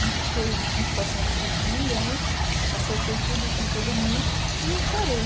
Não fiquei em situação difícil com ninguém, acertei tudo com todo mundo e ah parei.